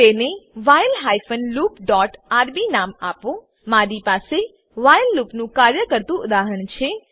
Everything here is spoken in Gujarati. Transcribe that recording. તેને while hyphen loop dot RB નામ આપો મારી પાસે વ્હાઈલ લૂપનું કાર્ય કરતુ ઉદાહરણ છે